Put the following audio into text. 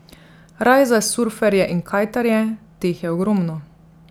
Raj za surferje in kajtarje, teh je ogromno.